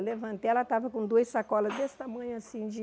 Eu levantei, ela estava com duas sacolas desse tamanho assim de...